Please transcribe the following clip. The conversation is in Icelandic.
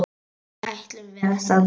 Ætlum við að standa saman?